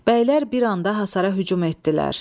Bəylər bir anda hasara hücum etdilər.